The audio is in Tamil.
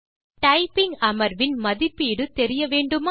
டைப்பிங் அமர்வின் மதிப்பீடு தெரிய வேண்டுமா